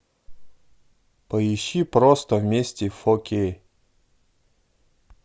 поищи просто вместе фо кей